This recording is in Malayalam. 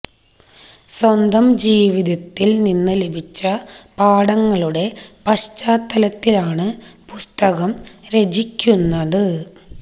സ്വന്തം ജീവിതത്തൽ നിന്ന് ലഭിച്ച പാഠങ്ങളുടെ പശ്ചാത്തലത്തിലാണ് പുസ്തകം രചിക്കുന്നത്